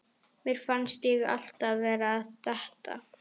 Mér fannst ég alltaf vera að detta.